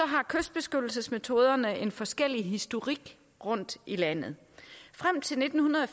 har kystbeskyttelsesmetoderne en forskellig historik rundtom i landet frem til nitten